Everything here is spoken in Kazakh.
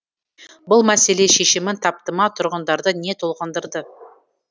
бұл мәселе шешімін тапты ма тұрғындарды не толғандырады